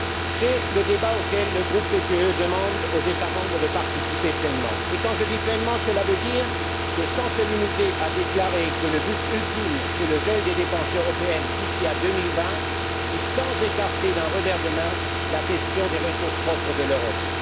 C'est le débat auquel le groupe PPE demande aux États membres de participer pleinement, et quand je dis pleinement, cela veut dire sans se limiter à déclarer que le but ultime est le gel des dépenses européennes d'ici à 2020 ou sans écarter d'un revers de main la question des ressources propres de l'Europe.